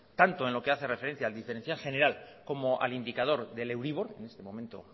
tanto en lo que hace referencia al diferencial general como al indicador del euribor en este momento